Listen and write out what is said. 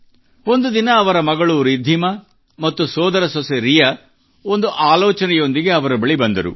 ಒಂದು ದಿನ ಅವರ ಮಗಳು ರಿದ್ಧಿಮಾ ಮತ್ತು ಸೋದರ ಸೊಸೆ ರಿಯಾ ಒಂದು ಆಲೋಚನೆಯೊಂದಿಗೆ ಅವರ ಬಳಿ ಬಂದರು